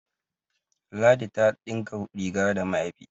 ladi ta dinka rig da mayafi